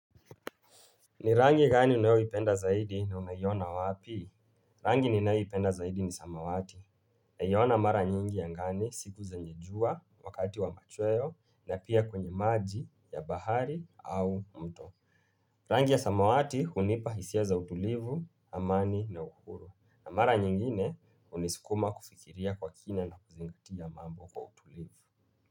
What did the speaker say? Ni rangi gani unayoipenda zaidi na umeiona wapi? Rangi ninayoipenda zaidi ni samawati. Naiona mara nyingi angani siku zenye jua wakati wa machweo na pia kwenye maji ya bahari au mto. Rangi ya samawati hunipa hisia za utulivu, amani na uhuru. Na mara nyingine huniskuma kufikiria kwa kina na kuzingatia mambo kwa utulivu.